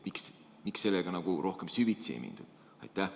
Miks sellega rohkem süvitsi ei mindud?